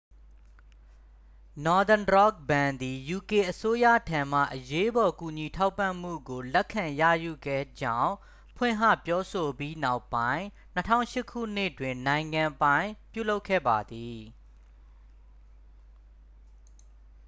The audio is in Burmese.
northern rock ဘဏ်သည် uk အစိုးရထံမှ အရေးပေါ် ကူညီထောက်ပံ့မှုကို လက်ခံရယူခဲ့ကြောင့် ဖွင့်ဟပြောဆိုပြီးနောက်ပိုင်း 2008 ခုနှစ်တွင် နိုင်ငံပိုင်ပြုလုပ်ခဲ့ပါသည်